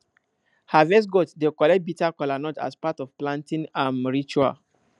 harvest gods dey collect bitter kola as part of planting um ritual